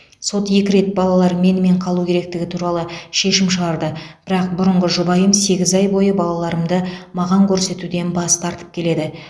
сот екі рет балалар менімен қалу керектігі туралы шешім шығарды бірақ бұрынғы жұбайым сегіз ай бойы балаларымды маған көрсетуден бас тартып келеді